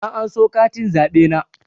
Na anso katin zaɓe na